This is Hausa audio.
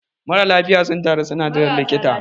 marasa lafiya sun taru suna jiran likita